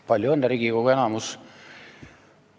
Palju õnne, Riigikogu enamus!